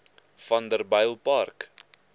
vanderbijilpark